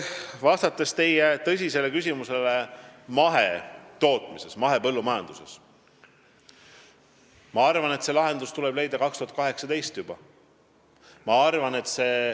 Vastates teie tõsisele küsimusele mahetootmise, mahepõllumajanduse kohta, ma arvan, et see lahendus tuleb leida juba 2018.